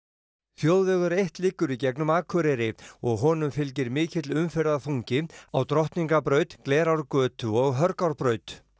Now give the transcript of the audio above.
þjóðvegur eitt liggur í gegnum Akureyri og honum fylgir mikill umferðarþungi á Drottningarbraut Glerárgötu og Hörgárbraut